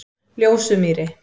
Ljósumýri